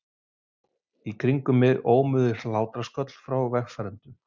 Í kringum mig ómuðu hlátrasköll frá vegfarendum.